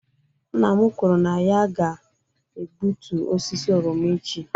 Nna m kwuru na ya ga-egbutu osisi oroma echi